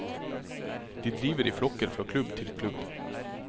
De driver i flokker fra klubb til klubb.